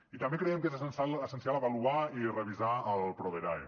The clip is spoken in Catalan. i també creiem que és essencial avaluar i revisar el proderae